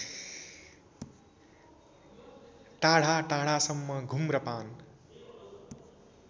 टाढाटाढासम्म घुम्र पान